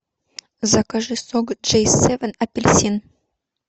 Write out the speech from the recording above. закажи сок джей севен апельсин